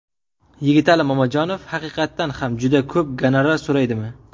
Yigitali Mamajonov haqiqatan ham juda ko‘p gonorar so‘raydimi?